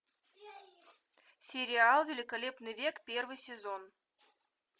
сериал великолепный век первый сезон